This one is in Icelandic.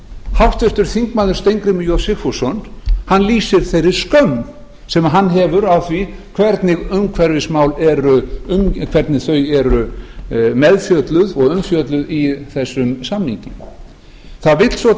háttvirtur þingmaður steingrímur j sigfússon lýsir þeirri skömm sem hann hefur á því hvernig umhverfismál eru meðfjölluð og umfjölluð í þessum samningi það vill svo